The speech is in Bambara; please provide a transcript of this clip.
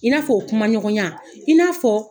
I n'a fɔ o kuma ɲɔgɔnya i n'a fɔ